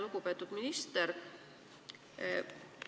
Lugupeetud minister!